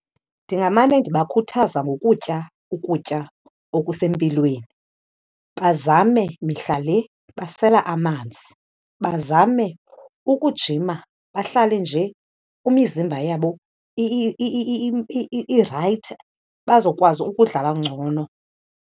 Ndingamane ndibakhuthaza ngokutya ukutya okusempilweni, bazame mihla le basela amanzi. Bazame ukujima, bahlale nje imizimba yabo irayithi bazokwazi ukudlala ngcono.